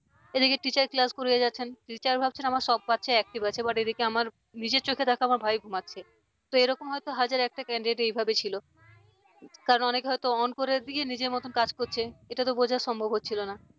এদিকে teacher class করিয়ে যাচ্ছেন teacher ভাবছেন আমার সব বাচ্চা active আছে but এদিকে আমার নিজের চোখে দেখা আমার ভাই ঘুমোচ্ছে তো এরকম হয়তো হাজার একটা candidate এইভাবে ছিল কারণ অনেকে হয়তো on করে দিয়ে নিজের মতো কাজ করছে এটা তো বোঝা সম্ভব হচ্ছিল না।